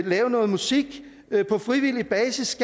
lave noget musik på frivillig basis